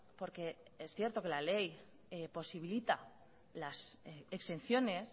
porque es cierto que la ley posibilita las exenciones